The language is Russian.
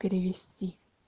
перевести